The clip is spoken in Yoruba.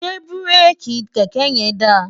ṣé búréèkì kẹ̀kẹ́ yẹn da?